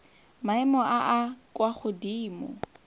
maemo a a kwa godimo